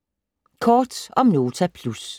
Kort om Nota Plus